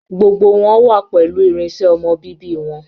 Gbogbo wọn wà pẹlu irinṣẹ ọmọ bíbí wọn.